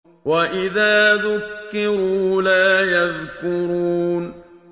وَإِذَا ذُكِّرُوا لَا يَذْكُرُونَ